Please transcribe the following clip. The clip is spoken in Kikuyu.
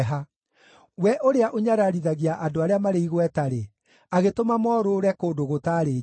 we ũrĩa ũnyararithagia andũ arĩa marĩ igweta-rĩ, agĩtũma morũũre kũndũ gũtaarĩ njĩra.